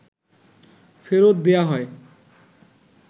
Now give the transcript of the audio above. ফেরত দেয়া হয়